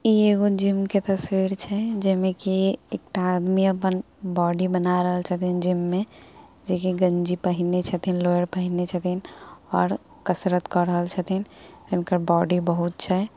इ एगो जिम के तस्वीर छै। जेमे की एकटा आदमी अपन बॉडी बना रहल छथिन जिम में जे की गंजी पहिनने छथीन लोअर पहिनने छै और अ कसरत क रहल छथिन । हुनकर बॉडी बहुत छै।